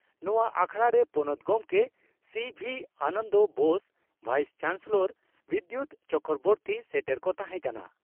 ᱱᱚᱣᱟ ᱟᱠᱷᱲᱟᱨᱮ ᱯᱚᱱᱚᱛ ᱜᱚᱢᱠᱮ C V Ananda Bose, vice chancellor Bidyut Chakraborty ᱥᱮᱴᱮᱨ ᱠᱚ ᱛᱟᱦᱮᱸ ᱠᱟᱱᱟ ᱾